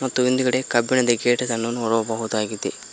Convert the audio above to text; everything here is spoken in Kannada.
ಮತ್ತು ಹಿಂದ್ಗಡೆ ಕಬ್ಬಿಣದ ಗೇಟ್ ಅನ್ನು ನೋಡಬಹುದಾಗಿದೆ.